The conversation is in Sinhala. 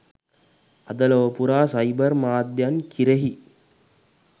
අද ලොව පුරා සයිබර් මාධ්‍යයන් කිරෙහි